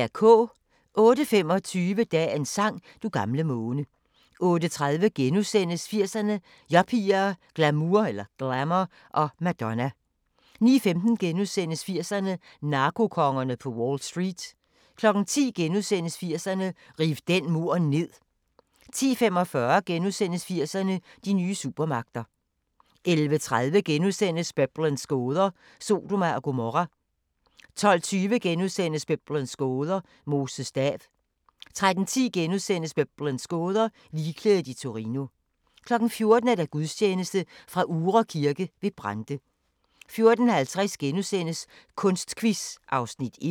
08:25: Dagens sang: Du gamle måne 08:30: 80'erne: Yuppier, glamour og Madonna * 09:15: 80'erne: Narkokongerne på Wall Street * 10:00: 80'erne: Riv den mur ned * 10:45: 80'erne: De nye supermagter * 11:30: Biblens gåder – Sodoma og Gomorra * 12:20: Biblens gåder – Moses stav * 13:10: Biblens gåder – Ligklædet i Torino * 14:00: Gudstjeneste fra Uhre Kirke ved Brande 14:50: Kunstquiz (Afs. 1)*